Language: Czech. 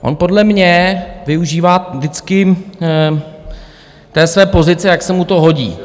On podle mě využívá vždycky té své pozice, jak se mu to hodí.